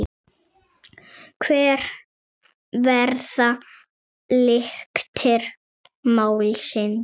Hver verða lyktir málsins Birgir?